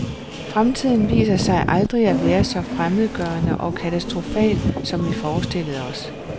Fremtiden viser sig aldrig at være så fremmedgørende og katastrofal, som vi forestillede os.